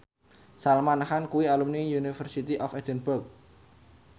Salman Khan kuwi alumni University of Edinburgh